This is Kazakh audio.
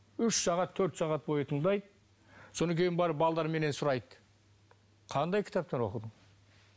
үш сағат төрт сағат бойы тыңдайды содан кейін барып менен сұрайды қандай кітаптар оқыдың